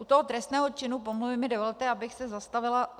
U toho trestného činu pomluvy mi dovolte, abych se zastavila.